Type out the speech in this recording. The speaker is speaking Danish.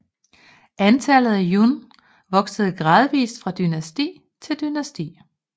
Antallet af jùn voksede gradvis fra dynasti til dynasti